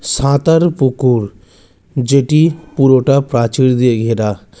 সাঁতার পুকুর যেটি পুরোটা প্রাচীর দিয়ে ঘেরা।